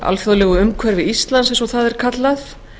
alþjóðlegu umhverfi íslands eins og það er kallað